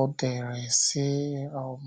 ọ dere sị um: